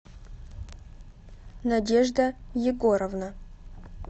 надежда егоровна